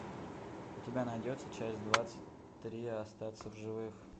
у тебя найдется часть двадцать три остаться в живых